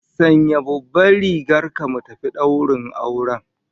Sanya babban rigar ka mu tafi daurin auren